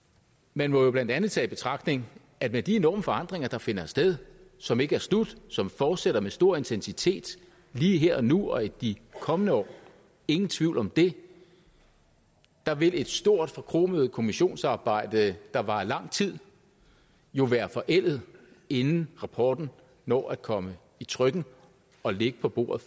man må jo blandt andet tage i betragtning at med de enorme forandringer der finder sted som ikke er slut som fortsætter med stor intensitet lige her og nu og i de kommende år ingen tvivl om det vil et stort forkromet kommissionsarbejde der varer lang tid jo være forældet inden rapporten når at komme i trykken og ligge på bordet